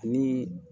Ani